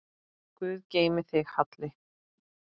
Guð geymi þig, Halli.